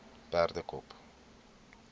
perdekop